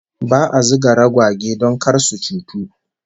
Ba'a zuga ragwage don kar su cutu